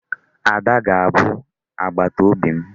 Ada ga-abụ agbataobi m.